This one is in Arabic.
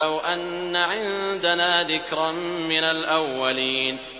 لَوْ أَنَّ عِندَنَا ذِكْرًا مِّنَ الْأَوَّلِينَ